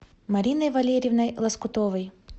мариной валериевной лоскутовой